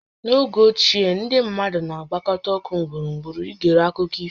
N'oge ochie, ndị mmadụ na-agbakọta ọkụ gburugburu i gere akụkọ ifo